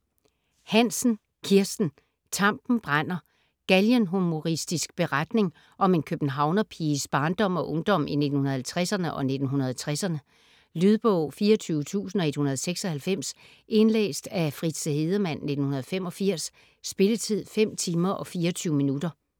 Hansen, Kirsten: Tampen brænder Galgenhumoristisk beretning om en københavnerpiges barndom og ungdom i 1950'erne og 1960'erne. Lydbog 24196 Indlæst af Fritze Hedemann, 1985. Spilletid: 5 timer, 24 minutter.